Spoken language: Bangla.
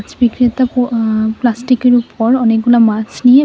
মাছ বিক্রেতা পু অ্যা প্লাস্টিকের উপর অনেকগুলা মাছ নিয়ে--